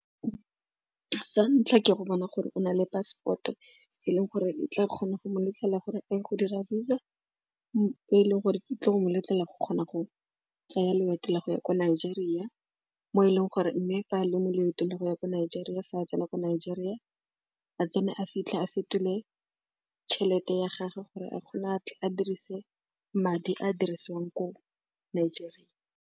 Sa ntlha, ke go bona gore o na le passport-o e leng gore e tla kgona go mo letlelela gore e go dira Visa, e leng gore e tle go moletlelela go kgona go tsaya loeto la go ya ko Nigeria mo e leng gore mme fa a le mo leetong le go ya ko Nigeria fa a tsena ko Nigeria, a tsene a fitlhe a fetole tšhelete ya gage gore a kgone a tle a dirise madi a dirisiwang ko Nigeria.